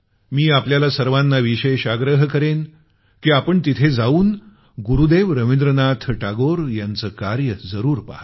आणि मी आपल्याला सर्वाना विशेष आग्रह करेन की आपण तिथ जाऊन गुरुदेव रवींद्रनाथ टागोर यांचं कार्य जरूर पहा